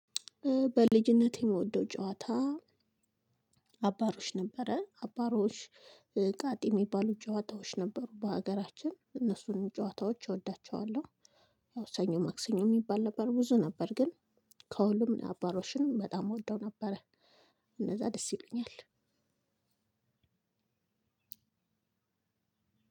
በልጅነቴ የምወደው ጨዋታ አባሮሽ ነበረ አባሮሽ ቃጤ የሚባሉ ጨዋታዎች ነበሩ በሀገራችን እነሱንም ጨዋታዎች እወዳቸዋለሁ። ሰኞ ማክሰኞ የሚባል ነበር ብዙ ነበር ግን ከሁሉም አባሮሽን በጣም እወደው ነበረ። እነዛ ደስ ይሉኛል።